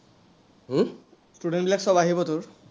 student বিলাক চব আহিবটো?